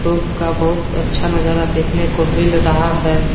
का बहुत अच्छा नजारा देखने को मिल रहा है।